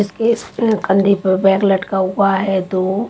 इसके इस कंधे पर बैग लटका हुआ है दो--